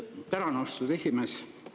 Tänan, austatud esimees!